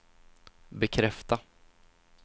bekräfta